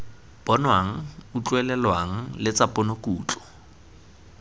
bonwang utlwelelwang le tsa ponokutlo